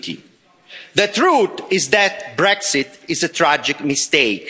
50? The truth is that Brexit is a tragic mistake.